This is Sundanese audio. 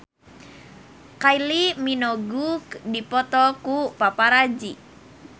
Kylie Minogue dipoto ku paparazi